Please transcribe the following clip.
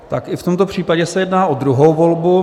Tak i v tomto případě se jedná o druhou volbu.